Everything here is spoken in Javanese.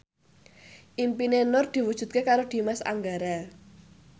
impine Nur diwujudke karo Dimas Anggara